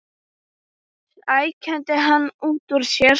hrækti hann út úr sér.